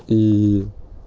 ии